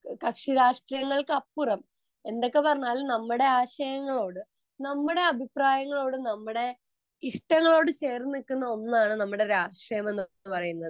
കക്ഷി രാഷ്ട്രീയങ്ങൾക്ക് അപ്പുറം എന്തൊക്കെ വന്നാൽ നമ്മുടെ രാഷ്ട്രീയങ്ങളോടെ നമ്മുടെ അഭിപ്രായങ്ങളോട് നമ്മുടെ ഇഷ്ടങ്ങളോട് ചേർന്ന് നിൽക്കുന്ന ഒന്നാണ് നമ്മുടെ രാഷ്ട്രീയം എന്ന് പറയുന്നത്